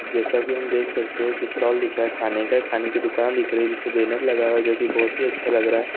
जैसा कि हम देख सकते हैं की स्टाल दिख रहा है खाने का खाने की दुकान दिख रही है जिससे बैनर लगाओ जो कि बहुत ही अच्छा लग रहा है।